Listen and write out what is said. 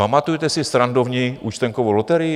Pamatujete si srandovní účtenkovou loterii?